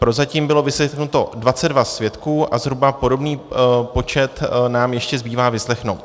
Prozatím bylo vyslechnuto 22 svědků a zhruba podobný počet nám ještě zbývá vyslechnout.